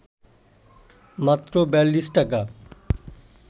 মাত্র ৪২ টাকা